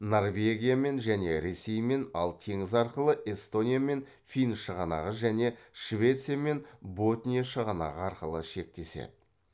норвегиямен және ресеймен ал теңіз арқылы эстониямен фин шығанағы және швециямен ботния шығанағы арқылы шектеседі